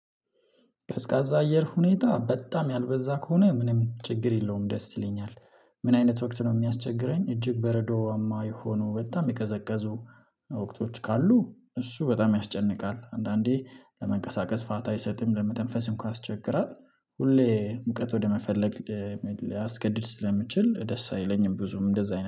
ቀዝቃዛ አየር ሁኔታ በጣም ያልበዛ ከሆነ ምንም ችግር የለውም ደስ ይለኛል። ምን አይነት ወቅት ነው የሚያስቸግረኝ እጅግ በረዷማ የሆኑ በጣም የቀዘቀዙ ወቅቶች ካሉ። እሱ በጣም ያስጨንቃል፣ አንዳንዴ ለመንቀሳቀስ ፋታ አይሰጥም፣ ለመተንፈስም እንኳን አስቸግራ፣ ሁሌ ሙቀት ወደመፈለግ ሊያስገድድ ስለሚችል ደስ አይለኝም ብዙም እንደዛ አይነት